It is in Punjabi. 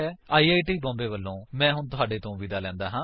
ਆਈ ਆਈ ਟੀ ਬੋਂਬੇ ਵਲੋਂ ਮੈਂ ਹੁਣ ਤੁਹਾਡੇ ਤੋਂ ਵਿਦਾ ਲੈਂਦਾ ਹਾਂ